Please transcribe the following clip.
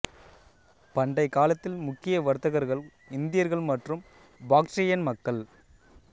பண்டை காலத்தில் முக்கிய வர்த்தகர்கள் இந்தியர்கள் மற்றும் பாக்ட்ரியன் மக்கள்